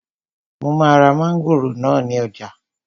Mo máa ra mángòrò náà ní ọjà